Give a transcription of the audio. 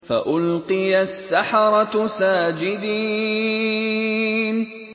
فَأُلْقِيَ السَّحَرَةُ سَاجِدِينَ